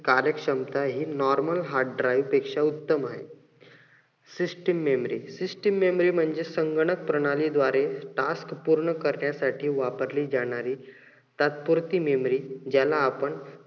कार्य क्षमता हि normal hard drive पेक्ष्या उत्तम आहे. system memory म्हणजे संगणक प्रणाली द्वारे task पूर्ण करण्यासाठी वापरली जाणारी तात्पुरती memory ज्याला आपण